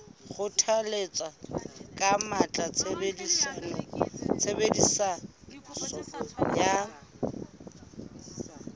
kgothalletsa ka matla tshebediso ya